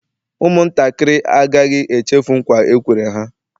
Ụmụ ntakịrị agaghị echefu nkwa e kwere ha